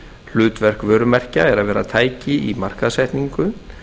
hlutverk vörumerkja er að vera tæki í markaðssetningu